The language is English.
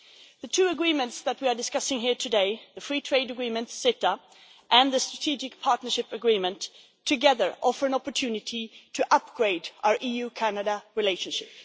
The two agreements that we are discussing here today the free trade agreement and the Strategic Partnership Agreement together offer an opportunity to upgrade our EU-Canada relationship.